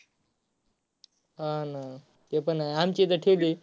हा ना ते पण आहे आमची तर ठेवलीये.